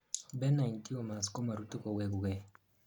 benign tumors komorutu kowegukei